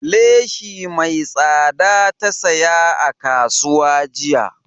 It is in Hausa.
Leshi mai tsada ta saya a kasuwa jiya